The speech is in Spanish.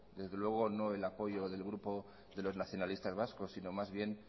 desde luego no el apoyo del grupo de los nacionalistas vascos sino más bien